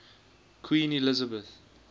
queen elizabeth